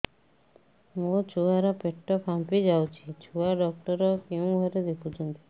ମୋ ଛୁଆ ର ପେଟ ଫାମ୍ପି ଯାଉଛି ଛୁଆ ଡକ୍ଟର କେଉଁ ଘରେ ଦେଖୁ ଛନ୍ତି